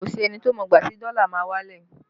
Kò sí ẹni tó mọ ìgbà tí dọ́là máa wálẹ̀